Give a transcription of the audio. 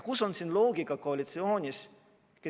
Kus on siin koalitsiooni loogika?